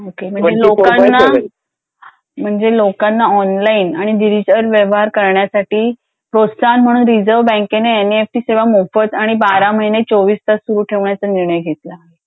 Okay म्हणजे लोकांना म्हणजे लोकांना ऑनलाइन आणि डिजिटल व्यवहार करण्यासाठी प्रोत्साहन म्हणून रिझर्व बँकेने एनईएफटी सेवा मोफत आणि बारा महिने चौवीस तास सुरू ठेवण्याचा निर्णय घेतला.